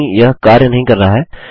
नहीं यह कार्य नहीं कर रहा है